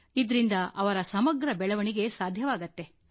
ಇದರಿಂದ ಅವರ ಸಮಗ್ರ ಬೆಳವಣಿಗೆ ಸಾಧ್ಯವಾಗುತ್ತೆ